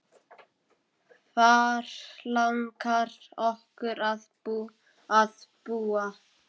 Hvar langar okkur að búa?